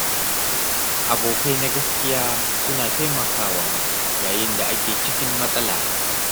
Abokai na gaskiya suna taimakawa yayin da ake cikin matsala.